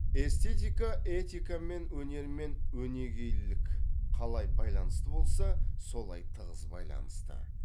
эстетика этикамен өнер мен өнегелілік қалай байланысты болса солай тығыз байланысты